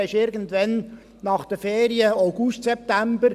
Dann ist es irgendwann nach den Ferien, August, September.